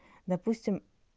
допустим